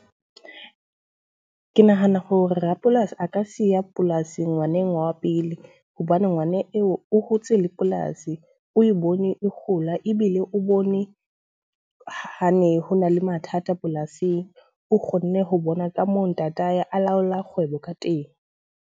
Ke nahana hore rapolasi a ka siya polasi ngwaneng wa pele. Hobane ngwana eo o hotse le polasi, o e bone e kgola ebile o bone ha ne ho na le mathata polasing. O kgonne ho bona ka moo ntatae a laola kgwebo ka teng.